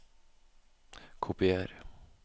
Kopier